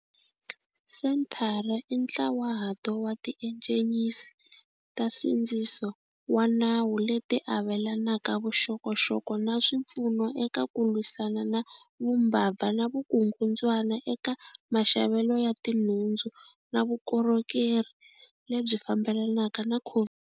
Senthara i ntlawahato wa tiejensi ta nsindziso wa nawu leti avelanaka vuxokoxoko na swipfuno eka ku lwisana na vumbabva na vukungundzwana eka maxavelo ya tinhundzu na vukorhokeri lebyi fambelanaka na COVID.